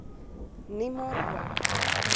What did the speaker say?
nie maar ook